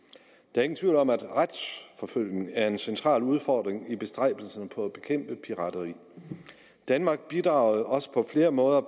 er ingen tvivl om at retsforfølgning er en central udfordring i bestræbelsen på at bekæmpe pirateri danmark bidrager også på flere måder